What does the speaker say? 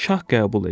Şah qəbul edir.